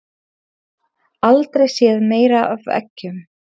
Aldrei séð meira af eggjum